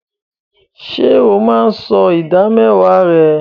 Ṣé o máa ń san ìdámẹ́wàá rẹ?